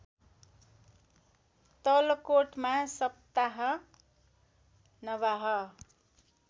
तलकोटमा सप्ताह नवाह